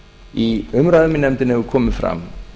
í umræðum í nefndinni hefur komið fram